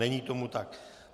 Není tomu tak.